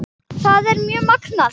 Þetta er mjög magnað.